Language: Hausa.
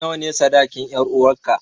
Nawa ne sadakin 'yaruwarka?